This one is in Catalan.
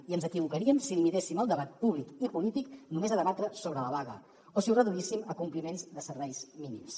i ens equivocaríem si limitéssim el debat públic i polític només a debatre sobre la vaga o si ho reduíssim a compliments de serveis mínims